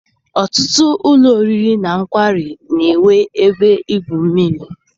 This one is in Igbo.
Ọtụtụ ụlọ oriri na nkwari na-enwe ebe igwu mmiri.